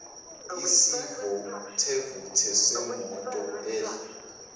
isivuthevuthe semoto edla